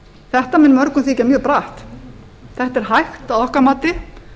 þetta mun mörgum þykja mjög bratt þetta er hægt að okkar mati